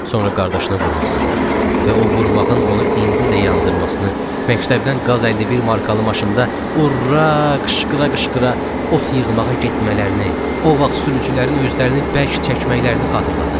Sonra qardaşını vurmasını və o vurmağın onu indi də yandırmasını, məktəbdən qaz 51 markalı maşında ura qışqıra-qışqıra ot yığmağa getmələrini, o vaxt sürücülərin özlərini bərk çəkməklərini xatırladı.